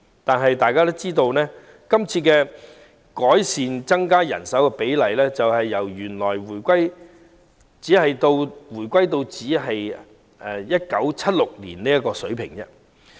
但大家也知道，這項增加人手比例的改善措施只是回到1976年的水平。